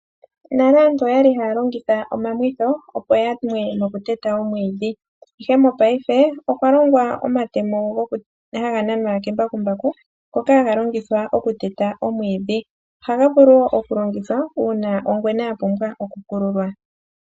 Nale aantu oya li haya longitha omamwitho, opo ya mwe nokuteta omwiidhi, ihe mopaife okwa longwa omatemo ngoka haga nanwa kembakumbaku ngoka haga longithwa okuteta omwiidhi. Ohaga vulu wo okulongithwa uuna ongwena ya pumbwa okukululwa.